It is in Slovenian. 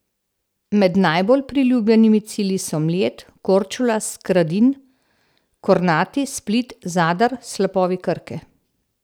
Med najbolj priljubljenimi cilji so Mljet, Korčula, Skradin, Kornati, Split, Zadar, slapovi Krke.